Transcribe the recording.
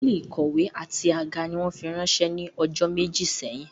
Àwọn tábìlì ìkọ̀wé àti àga ni wọ́n fi ránsẹ́ ní ọjọ́ méjì sẹ́yìn